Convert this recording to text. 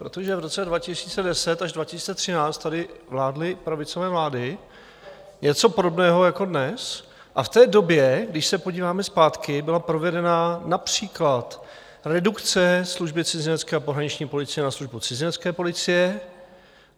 Protože v roce 2010 až 2013 tady vládly pravicové vlády, něco podobného jako dnes, a v té době, když se podíváme zpátky, byla provedena například redukce Služby cizinecké a pohraniční policie na Službu cizinecké policie.